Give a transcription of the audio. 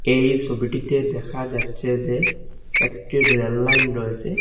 এই সবিটিতে দেখা যাচ্ছে যে একটি রেল লাইন রয়েসে।